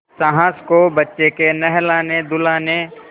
सास को बच्चे के नहलानेधुलाने